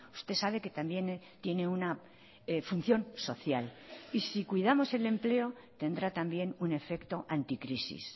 usted sabe que también tiene una función social y si cuidamos el empleo tendrá también un efecto anticrisis